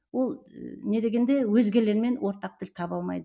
ол не дегенде өзгелермен ортақ тіл таба алмайды